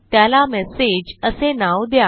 त्याला मेसेज असे नाव द्या